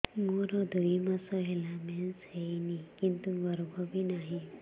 ମୋର ଦୁଇ ମାସ ହେଲା ମେନ୍ସ ହେଇନି କିନ୍ତୁ ଗର୍ଭ ବି ନାହିଁ